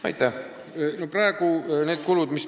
Aitäh!